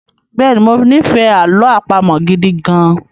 Bẹ́ẹ̀ni, mo ní ìfẹ́ àlọ àpamọ̀ gidi gan-an